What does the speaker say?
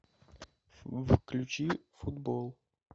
включи футбол